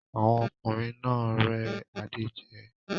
Àwọn ọkùnrin náà rẹ́ Adé jẹ